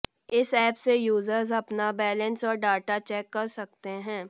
इस ऐप से यूजर्स अपना बैलेंस और डाटा चेक कर सकते हैं